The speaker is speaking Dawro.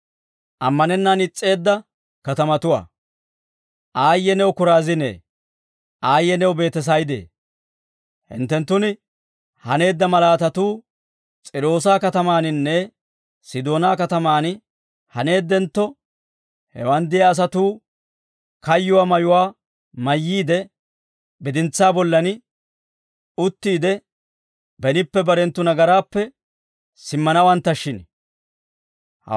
«Aayye new Koraaziine; aayye new Beetesayde; hinttenttun haneedda malaatatuu S'iiroosa katamaaninne Sidoonaa katamaan haneeddentto, hewaan de'iyaa asatuu kayyuwaa mayuwaa mayyiide, bidintsaa bollan uttiide, benippe barenttu nagaraappe simmanawanttashshin.